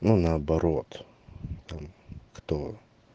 ну наоборот там кто